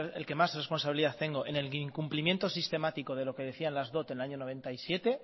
el que más responsabilidad tengo en el incumplimiento sistemático de lo que decían las dot en el año mil novecientos noventa y siete